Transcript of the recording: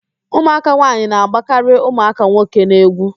Ụmụaka nwaanyị na-agbakarị ụmụaka nwoke n'egwu